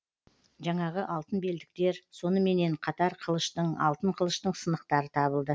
жаңағы алтын белдіктер соныменен қатар қылыштың алтын қылыштың сынықтары табылды